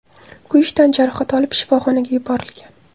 kuyish tan jarohati olib shifoxonaga yuborilgan.